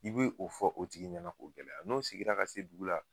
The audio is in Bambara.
I bi o fɔ o tigi ɲɛna k'o gɛlɛ ,n'o seginna ka se o dugu la.